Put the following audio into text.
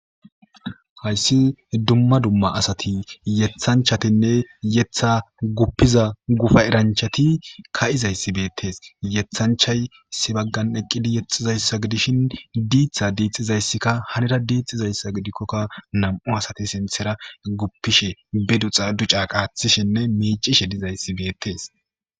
hayssi dumma dumma asati yethanchatinne yetha guppiza gufa eranchati ka7izayssi beettes yethanchay sibaggan eqqidi yexxizayssa gidishin diitha diixizayssikka hanira diixxizayssa gidikkokka nam7u asati sinthera guppishe be duxa duca qaathishinne miicishe dizayssi beettes.